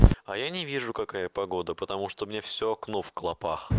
а я не вижу какая погода потому что у меня всё окно в клопах